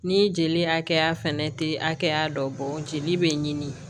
Ni jeli hakɛya fɛnɛ tɛ hakɛya dɔ bɔ jeli bɛ ɲini